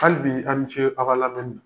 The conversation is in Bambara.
Hali bi a ni ce a ka lamɛnni na.